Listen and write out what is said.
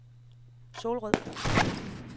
Solrød